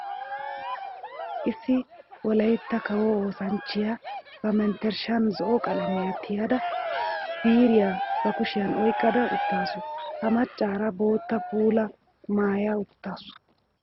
Issi wolaytta kawo oosanchchiya ba menttershshan zo'o qalamiya tiyadda biiriya ba kushiyan oyqqadda uttaassu. Ha macara bootta puula maaya uttaasu.